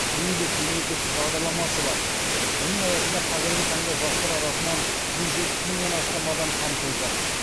еңбек мемлекеттік бағдарламасы бар оның аясында қазіргі таңда жастар арасынан жүз жетпіс мыңнан астам адам қамтылды